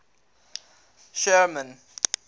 sherman